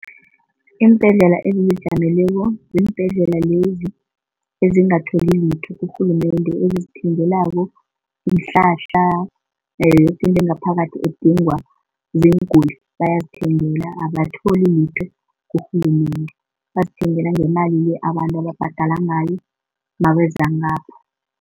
Iimbhedlela ezizijameleko ziimbhedlela lezi ezingatholi litho kurhulumende ezizithengelako iinhlahla, nayo yoke into engaphakathi edingwa ziinguli bayazithengela abatholi litho kurhulumende. Bazithengela ngemali le abantu ababhadela ngayo nabeza ngapho.